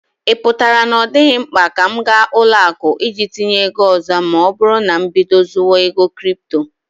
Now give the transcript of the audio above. Ị pụtara na ọ dịghị mkpa ka m ga ụlọ akụ iji tinye ego ọzọ ma oburu na mbido zuwa ego kripto